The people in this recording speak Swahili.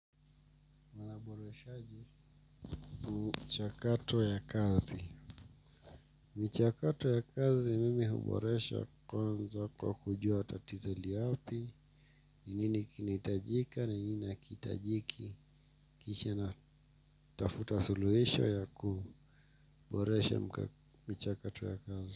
Uboreshaji, mchakato ya kazi. Michakato ya kazi, mimi huboresha kwanza kwa kujua tatizo li wapi, ni nini kinahitajika, ni nini hakihitajiki, kisha natafuta suluhisho ya kuboresha michakato ya kazi.